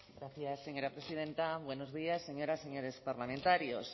gracias señora presidenta buenos días señoras y señores parlamentarios